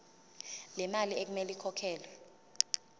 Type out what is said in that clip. lemali okumele ikhokhelwe